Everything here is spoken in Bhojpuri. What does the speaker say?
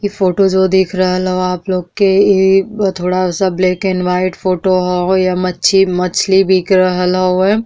इ फोटो जो देख रहल हव आप लोग के इ थोड़ा सा ब्लैक एंड वाइट फोटो ह यहाँँ मछी मछली बिक रहल हवे --